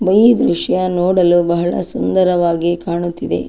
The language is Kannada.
ಬೈಲು ದೃಶ್ಯ ನೋಡಲು ಬಹಳ ಸುಂದರವಾಗಿ ಕಾಣುತಿದೆ.